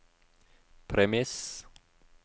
premiss